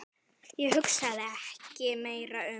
Ég hugsaði ekki meira um